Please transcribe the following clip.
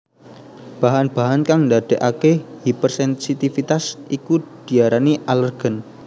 Bahan bahan kang ndadèkaké hipersensitivitas iku diarani alèrgen